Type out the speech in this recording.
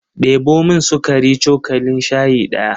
Ɗebo min sukari cokalin shayi ɗaya.